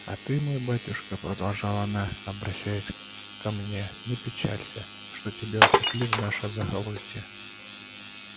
а ты мой батюшка продолжала она обращаясь ко мне не печалься что тебя упекли в наше захолустье